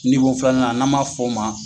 Ni ko filanan n'an ma fɔ o ma.